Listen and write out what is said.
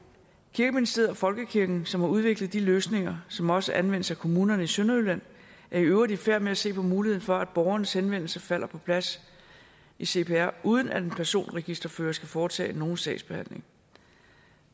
kirkeministeriet og folkekirken som har udviklet de løsninger som også anvendes af kommunerne i sønderjylland er i øvrigt i færd med at se på muligheden for at borgerens henvendelse falder på plads i cpr uden at en personregisterfører skal foretage nogen sagsbehandling